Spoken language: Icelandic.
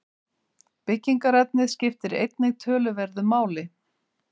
Byggingarefnið skiptir einnig töluverðu máli.